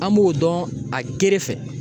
An b'o dɔn a gere fɛ